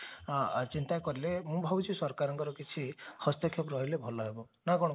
ଚିନ୍ତା କଲେ ମୁଁ ଭାବୁଛି ସରକାରଙ୍କର କିଛି ହସ୍ତକ୍ଷେପ ରହିଲେ ଭଲ ହେବ ନା କଣ କହୁଛ